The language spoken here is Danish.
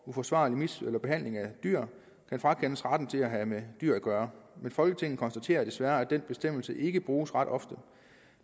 uforsvarlig behandling af dyr kan frakendes retten til at have med dyr at gøre men folketinget konstaterer desværre at denne bestemmelse ikke bruges ret ofte